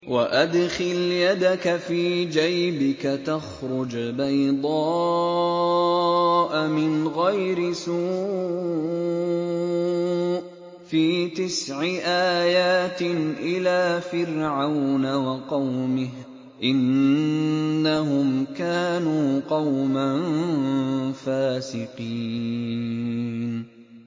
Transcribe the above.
وَأَدْخِلْ يَدَكَ فِي جَيْبِكَ تَخْرُجْ بَيْضَاءَ مِنْ غَيْرِ سُوءٍ ۖ فِي تِسْعِ آيَاتٍ إِلَىٰ فِرْعَوْنَ وَقَوْمِهِ ۚ إِنَّهُمْ كَانُوا قَوْمًا فَاسِقِينَ